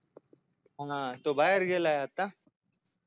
हा तो बाहेर गेलाय आता